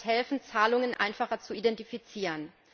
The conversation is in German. Das wird helfen, Zahlungen einfacher zu identifizieren.